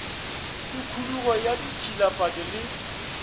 le khudugo ya ditšhilafatšo le